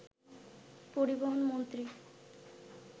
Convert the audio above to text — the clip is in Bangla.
পরিবহন মন্ত্রী